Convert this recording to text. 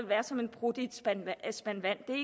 være som en prut i en spand vand det er